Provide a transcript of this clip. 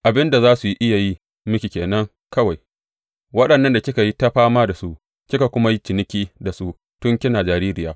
Abin da za su iya yi miki ke nan kawai, waɗannan da kika yi ta fama da su kika kuma yi ciniki da su tun kina jaririya.